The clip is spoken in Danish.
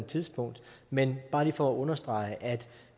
tidspunkt men bare lige for at understrege